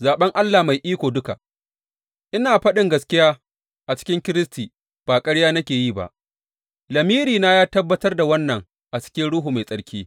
Zaɓen Allah mai iko duka Ina faɗin gaskiya a cikin Kiristi ba ƙarya nake yi ba, lamirina ya tabbatar da wannan a cikin Ruhu Mai Tsarki.